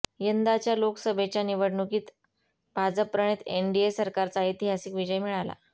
यंदाच्या लोकसभा निवडणुकीत भाजपप्रणित एनडीए सरकारचा ऐतिहासिक विजय मिळाला